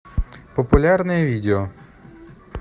популярное видео